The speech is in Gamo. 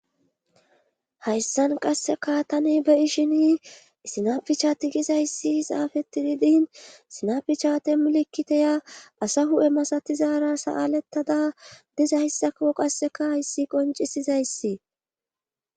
hayssan qasseka tani beyi shini sinapichati gizayssi xaafeti didin sinapichatemulekkiteya asa hu7e masatizaara sa7alettada dizayssako qasseka hayssi qoncisizayssi